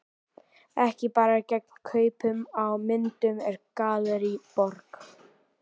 Ekki bara gegn kaupum á myndum úr Gallerí Borg.